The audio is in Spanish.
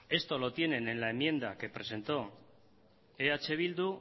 esto lo tienen en la enmienda que presentó eh bildu